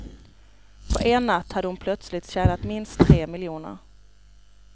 På en natt hade hon plötsligt tjänat minst tre miljoner.